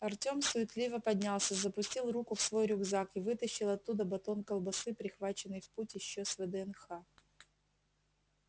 артём суетливо поднялся запустил руку в свой рюкзак и вытащил оттуда батон колбасы прихваченный в путь ещё с вднх